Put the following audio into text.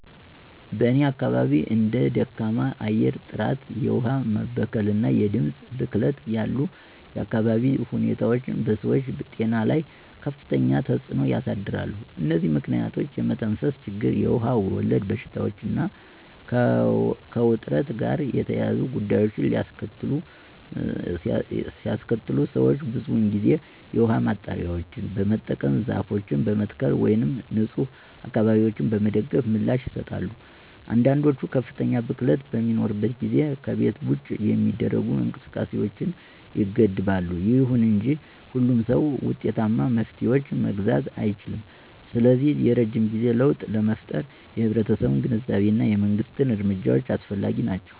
በእኔ አካባቢ እንደ ደካማ የአየር ጥራት፣ የውሃ መበከል እና የድምፅ ብክለት ያሉ የአካባቢ ሁኔታዎች በሰዎች ጤና ላይ ከፍተኛ ተጽዕኖ ያሳድራሉ። እነዚህ ምክንያቶች የመተንፈስ ችግር, የውሃ ወለድ በሽታዎች እና ከውጥረት ጋር የተያያዙ ጉዳዮችን ሊያስከትሉ ሰዎች ብዙውን ጊዜ የውሃ ማጣሪያዎችን በመጠቀም፣ ዛፎችን በመትከል ወይም ንፁህ አካባቢዎችን በመደገፍ ምላሽ ይሰጣሉ። አንዳንዶች ከፍተኛ ብክለት በሚኖርበት ጊዜ ከቤት ውጭ የሚደረጉ እንቅስቃሴዎችን ይገድባሉ። ይሁን እንጂ ሁሉም ሰው ውጤታማ መፍትሄዎችን መግዛት አይችልም, ስለዚህ የረጅም ጊዜ ለውጥ ለመፍጠር የህብረተሰቡ ግንዛቤ እና የመንግስት እርምጃዎች አስፈላጊ ናቸው.